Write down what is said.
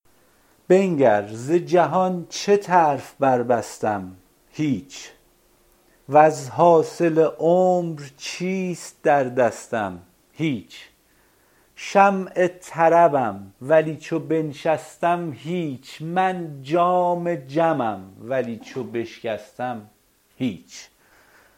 بنگر ز جهان چه طرف بربستم هیچ وز حاصل عمر چیست در دستم هیچ شمع طربم ولی چو بنشستم هیچ من جام جمم ولی چو بشکستم هیچ